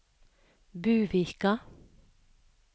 Buvika